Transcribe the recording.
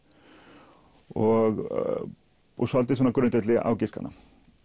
og svolítið svona á grundvelli ágiskana